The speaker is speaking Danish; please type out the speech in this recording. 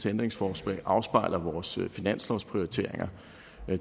ændringsforslag afspejler vores finanslovsprioriteringer